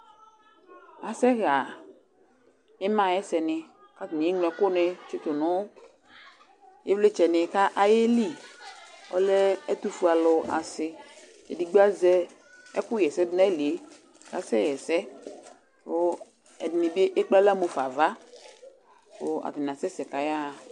asɛ ɣa ima ayʊ ɛsɛnɩ, kʊ atanɩ adʊ ulɔ dʊ nʊ ɛkʊnɩtʊ nʊ ivlitsɛ kʊ ayeli, atnɩ lɛ ɛtʊfue asinɩ, edigbo azɛ ɛkʊ ɣa ɛsɛdu nayili yɛ kʊ asɛ ɣa ɛsɛ, kʊ ɛdɩnɩ bɩ emu nʊ aɣla nava, kʊ atanɩ asɛsɛ kʊ ayaɣa